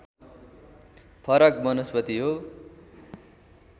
फरक वनस्पति हो